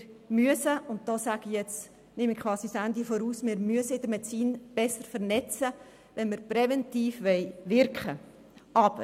Wir müssen in der Medizin besser vernetzen, wenn wir präventiv wirken wollen.